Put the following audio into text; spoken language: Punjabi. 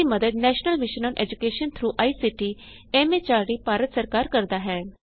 ਇਸਦੀ ਮਦਦ national mission on education through I C T M H R D Bharat ਸਰਕਾਰ ਕਰਦਾ ਹੈ